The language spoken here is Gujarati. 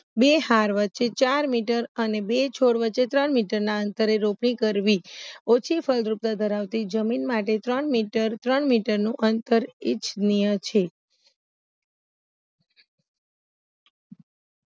બે હાર વચે ચાર મીટર અને બે છોડ વચે ત્રણ મીટરના અંતરે રોપણી કરવી ઓછી ફળદ્રુપતા ધરાવતી જમીન માટે ત્રણ મીટર ત્રણ મીટરનું અંતર ઈચ્છનીય છે